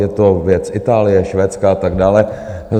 Je to věc Itálie, Švédska a tak dále.